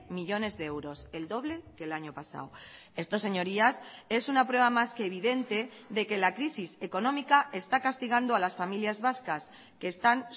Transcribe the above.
millónes de euros el doble que el año pasado esto señorías es una prueba más que evidente de que la crisis económica está castigando a las familias vascas que están